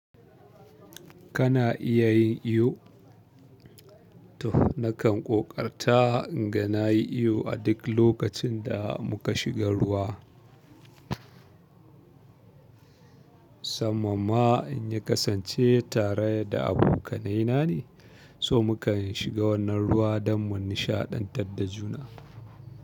Kana iya yin iyo? To nakan ƙoƙarta inga na yi iyo a duk lokacin da muka shiga ruwa. Sanan ma in yi kasance tare da abokanaina ne, so muka shiga wannan ruwa don mu nishaɗantar da juna.